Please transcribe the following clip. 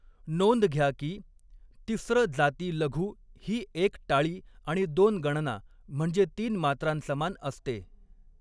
नोंद घ्या की, तिस्र जाती लघु ही एक टाळी आणि दोन गणना म्हणजे तीन मात्रांसमान असते.